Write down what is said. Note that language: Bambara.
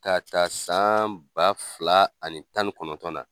Ka ta san ba fila ani tan ni kɔnɔntɔn na.